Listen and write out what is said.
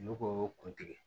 Olu ko kuntigɛ